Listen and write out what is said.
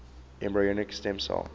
embryonic stem cell